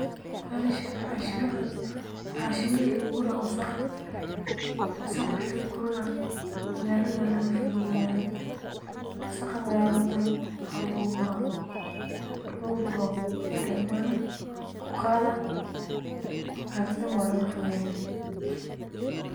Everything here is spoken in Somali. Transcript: Welashan hanshimahan wa hanshimihii laguguray wasaqd wasaqd marki laguro ne magalatha dan walagafogeya marki laguguro gari balaguqathaa magalatha dan walagafogeynaa